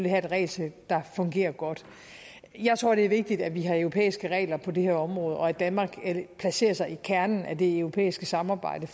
have et regelsæt der fungerer godt jeg tror det er vigtigt at vi har europæiske regler på det her område og at danmark placerer sig i kernen af det europæiske samarbejde